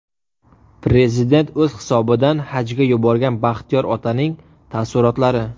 Prezident o‘z hisobidan hajga yuborgan Baxtiyor otaning taassurotlari .